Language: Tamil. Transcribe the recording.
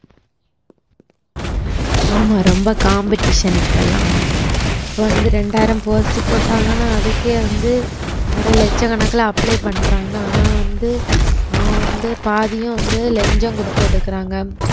ஆமா ரொம்ப competition இப்பல்லாம் வந்து இப்ப வந்து ரெண்டாயிரம் post போட்டாங்கன்னா அதுக்கே வந்து அரை லட்சக்கணக்குல apply பண்றாங்க ஆனா வந்து அவன் வந்து பாதியும் வந்து லஞ்சம் குடுத்து எடுக்குறாங்க